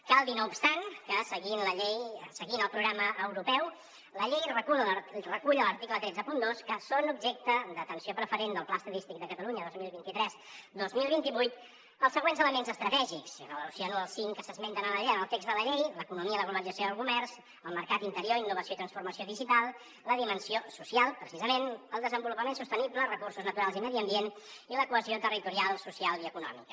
cal dir no obstant que seguint el programa europeu la llei recull a l’article cent i trenta dos que són objecte d’atenció preferent del pla estadístic de catalunya dos mil vint tres dos mil vint vuit els següents elements estratègics i relaciono els cinc que s’esmenten en el text de la llei l’economia la globalització i el comerç el mercat interior innovació i transformació digital la dimensió social precisament el desenvolupament sostenible recursos naturals i medi ambient i la cohesió territorial social i econòmica